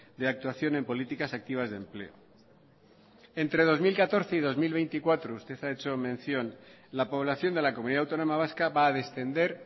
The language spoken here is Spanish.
de actuación en políticas activas de empleo entre dos mil catorce y dos mil veinticuatro usted ha hecho mención la población de la comunidad autónoma vasca va a descender